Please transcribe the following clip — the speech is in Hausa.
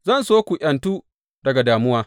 Zan so ku ’yantu daga damuwa.